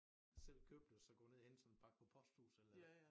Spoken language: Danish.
Selv købe det og så gå ned og hente sådan en pakke på posthuset eller